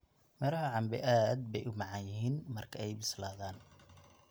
Midhaha cambe aad bay u macaan yihiin marka ay bislaadaan.